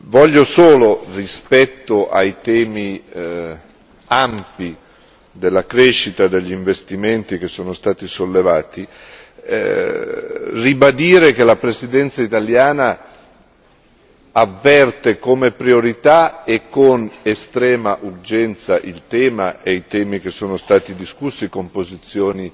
Voglio solo, rispetto ai temi ampi della crescita, degli investimenti, che sono stati sollevati, ribadire che la Presidenza italiana avverte come priorità e con estrema urgenza il tema e i temi che sono stati discussi con posizioni